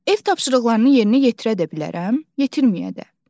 Ev tapşırıqlarını yerinə yetirə də bilərəm, yetirməyə də.